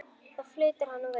Þá flautar hann og veifar.